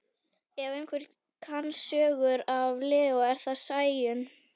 Ef einhver kann sögur af Leó er það Sæunn.